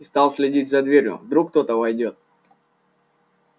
и стал следить за дверью вдруг кто-то войдёт